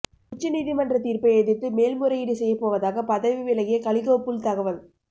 உச்சநீதிமன்ற தீர்ப்பை எதிர்த்து மேல்முறையீடு செய்யபோவதாக பதவி விலகிய கலிகோ புல் தகவல்